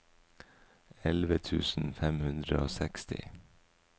elleve tusen fem hundre og seksti